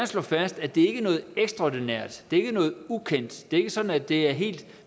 slå fast at det ikke er noget ekstraordinært det er ikke noget ukendt det er ikke sådan at det er helt